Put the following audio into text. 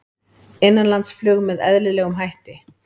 Innanlandsflug með eðlilegum hætti